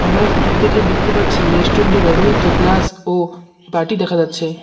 আমরা ফটো -টি দেখে দেখতে পারছি রেস্টুরেন্ট -এ ব্যবহৃত গ্লাস ও বাটি দেখা যাচ্ছে।